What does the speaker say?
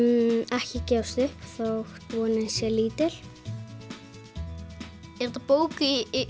ekki gefast upp þótt vonin sé lítil er þetta bók í